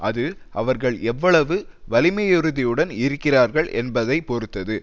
அது அவர்கள் எவ்வளவு வலிமையுறுதியுடன் இருக்கிறார்கள் என்பதை பொறுத்தது